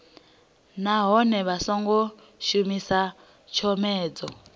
nahone vha songo shumisa tshomedzo